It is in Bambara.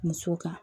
Musow kan